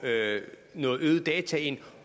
noget mere data ind